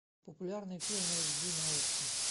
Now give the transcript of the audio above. популярные фильмы эйч ди на окко